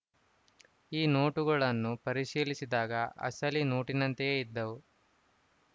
ಈ ನೋಟುಗಳನ್ನು ಪರಿಶೀಲಿಸಿದಾಗ ಅಸಲಿ ನೋಟಿನಂತೆಯೇ ಇದ್ದವು